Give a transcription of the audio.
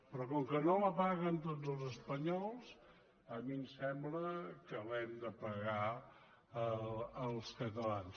però com que no la paguen tots els espanyols a mi em sembla que l’hem de pagar els catalans